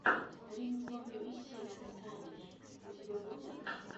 стрим зоны веселья с саней у тебя будет